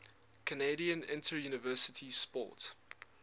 canadian interuniversity sport